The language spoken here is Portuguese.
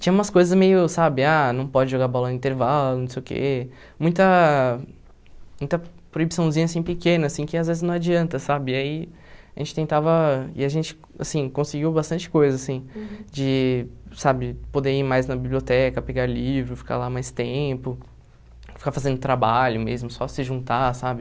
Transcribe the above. Tinha umas coisas meio, sabe, ah, não pode jogar bola no intervalo, não sei o que, muita muita proibiçãozinha assim pequena, assim, que às vezes não adianta, sabe, e aí a gente tentava, e a gente, assim, conseguiu bastante coisa, assim, de, sabe, poder ir mais na biblioteca, pegar livro, ficar lá mais tempo, ficar fazendo trabalho mesmo, só se juntar, sabe.